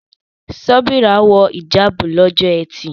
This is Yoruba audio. Sobeerah wọ hìjáàbù lọ́jọ́ ẹtì.